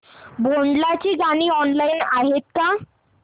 भोंडला ची गाणी ऑनलाइन आहेत का